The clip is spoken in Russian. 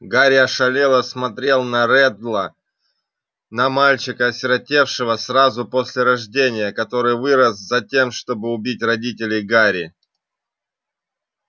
гарри ошалело смотрел на реддла на мальчика осиротевшего сразу после рождения который вырос затем чтобы убить родителей гарри